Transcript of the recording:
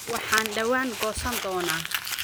Waxaan dhawaan goosan doonaa